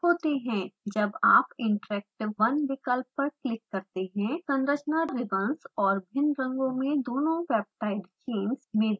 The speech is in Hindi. जब आप interactive 1 विकल्प पर क्लिक करते हैं: संरचना रिबंस और भिन्न रंगों में दोनों peptide chains में दिखाई देती है